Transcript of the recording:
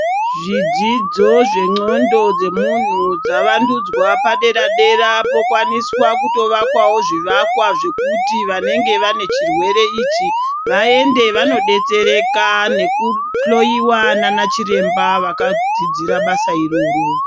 Zvidzidzo zvendxondo dzemuntu zvavandudzwa padera-dera pokwaniswa kutovakwavo zvivakwa zvekuti vanenge vane chirwere ichi. Vaende vanobetsereka nekuhloiwa nanachiremba vakadzidzira basa iroro.